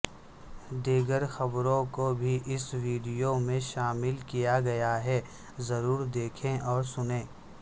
دیگر خبروں کو بھی اس ویڈیو میں شامل کیاگیاہے ضرور دیکھیں اور سنیں